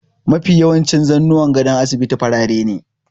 Mafi yawancin zannuwan gadon asibiti farare ne.